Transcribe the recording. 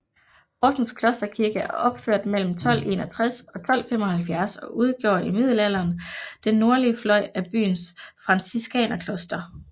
Horsens Klosterkirke er opført mellem 1261 og 1275 og udgjorde i middelalderen den nordlige fløj af byens franciskanerkloster